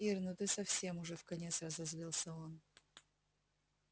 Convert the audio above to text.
ир ну ты совсем уже вконец разозлился он